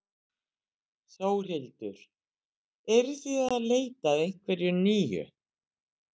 Þórhildur: Eruð þið að leita að einhverju nýju?